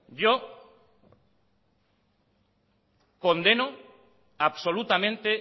yo condeno absolutamente